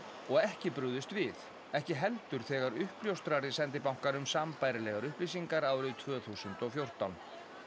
og ekki brugðist við ekki heldur þegar uppljóstrari sendi bankanum sambærilegar upplýsingar árið tvö þúsund og fjórtán